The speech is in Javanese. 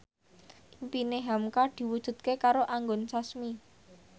impine hamka diwujudke karo Anggun Sasmi